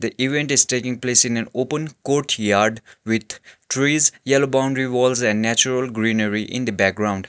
the event is taking place in an open courtyard with trees yellow boundary walls and natural greenery in the background.